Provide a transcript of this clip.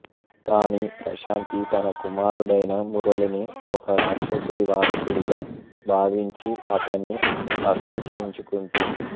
కానీ ప్రశాంతి తన కుమారుడైన మురళిని ఒక రాక్షసుడి వారసుడిగా భావించి అతన్ని అసహ్యించుకుంటుంది